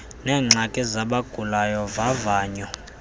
neengxaki zabagulayo vavanyo